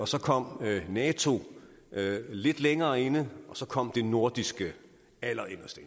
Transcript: så kom nato lidt længere inde og så kom det nordiske allerinderst